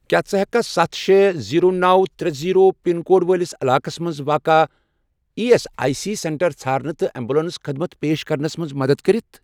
کیٛاہ ژٕ ہیٚککھا سَتھ، شے، زیٖرو، نو، ترے، زیٖرو، پِن کوڈ وٲلِس علاقس مَنٛز واقع E S I C centre ژھارنہٕ تہٕ ایٚمبولیٚنس خدمت پیش کرنس مَنٛز مدد کٔرِتھ؟